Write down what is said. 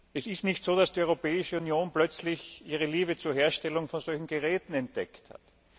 Es ist nicht so, dass die Europäische Union plötzlich ihre Liebe zur Herstellung von solchen Geräten entdeckt hat.